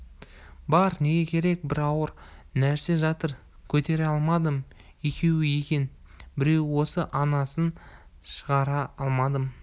бар неге керек бір ауыр нәрсе жатыр көтере алмадым екеу екен біреуі осы анасын шығара алмадым